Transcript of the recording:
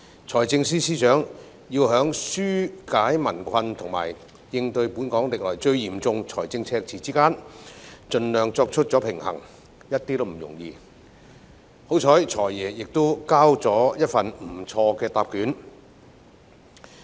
財政司司長要在紓解民困及應對本港歷來最嚴重的財政赤字之間盡量作出平衡，一點也不容易，幸好"財爺"交出的答卷還算不錯。